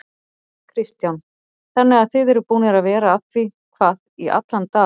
Kristján: Þannig að þið eruð búnir að vera að því hvað í allan dag?